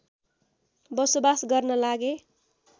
बसोबास गर्न लागे